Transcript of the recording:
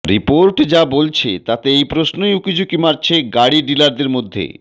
report যা বলছে তাতে এই প্রশ্নই উকিঝুঁকি মারছে গাড়ি ডিলারদের মধ্যে